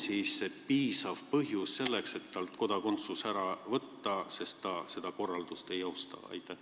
Kas see on piisav põhjus selleks, et talt kodakondsus ära võtta, sest ta ju seda korraldust ei austa?